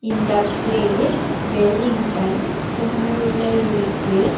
இந்த பிளேஸ் வெலிங்டன் குன்னூர்ல இருக்கு.